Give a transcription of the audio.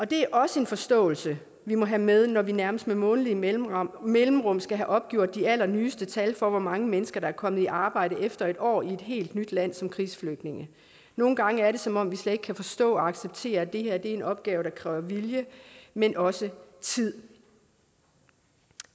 det er også en forståelse vi må have med når vi nærmest med månedlige mellemrum mellemrum skal have opgjort de allernyeste tal for hvor mange mennesker der er kommet i arbejde efter en år i et helt nyt land som krigsflygtninge nogle gange er det som om vi slet ikke kan forstå og acceptere at det her er en opgave der kræver vilje men også tid